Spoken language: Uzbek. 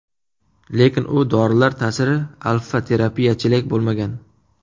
Lekin u dorilar ta’siri alfa-terapiyachalik bo‘lmagan.